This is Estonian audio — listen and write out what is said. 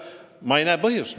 Ma ei näe selleks põhjust.